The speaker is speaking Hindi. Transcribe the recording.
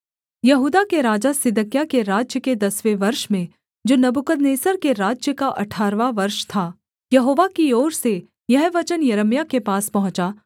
यहूदा के राजा सिदकिय्याह के राज्य के दसवें वर्ष में जो नबूकदनेस्सर के राज्य का अठारहवाँ वर्ष था यहोवा की ओर से यह वचन यिर्मयाह के पास पहुँचा